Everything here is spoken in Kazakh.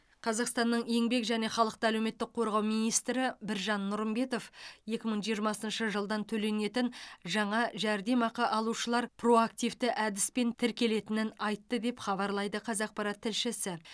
қазақстанның еңбек және халықты әлеуметтік қорғау министрі біржан нұрымбетов екі мың жиырмасыншы жылдан төленетін жаңа жәрдемақы алушылар проактивті әдіспен тіркелетінін айтты деп хабарлайды қазақпарат тілшісі